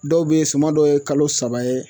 Dɔw be yen suma dɔw ye kalo saba ye